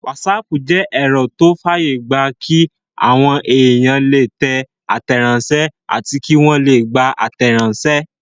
Wásaàpù jẹ́ ẹ̀rọ tó fàyè gbà kí àwọn èèyàn lè tẹ àtẹ̀ránsẹ́ àti kí wọ́n lè gbà àtẹ̀ránsẹ́